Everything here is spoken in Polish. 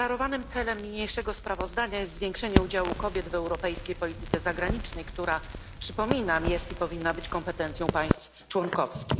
Deklarowanym celem niniejszego sprawozdania jest zwiększenie udziału kobiet w europejskiej polityce zagranicznej, która przypominam jest i powinna być kompetencją państw członkowskich.